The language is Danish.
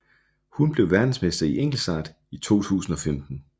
Hun blev verdensmester i enkeltstart i 2015